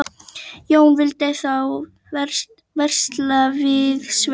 Jón vildi þá versla við Svein.